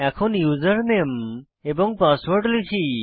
এখন ইউজারনেম এবং পাসওয়ার্ড লিখি